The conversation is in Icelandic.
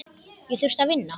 Ég þurfti að vinna.